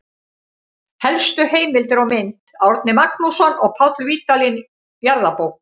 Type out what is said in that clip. Helstu heimildir og mynd: Árni Magnússon og Páll Vídalín, Jarðabók.